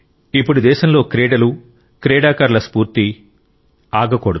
ఇప్పుడు దేశంలో క్రీడలు ఆటలు క్రీడాకారుల స్ఫూర్తి ఇప్పుడు ఆగకూడదు